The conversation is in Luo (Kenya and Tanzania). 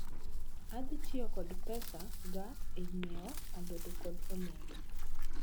Adhi tiyo kod pes ga e nyiewo alode kod olembe